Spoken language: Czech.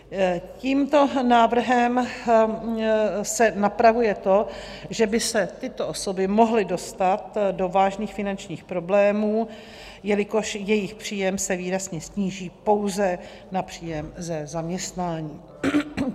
Tímto návrhem se napravuje to, že by se tyto osoby mohly dostat do vážných finančních problémů, jelikož jejich příjem se výrazně sníží pouze na příjem ze zaměstnání.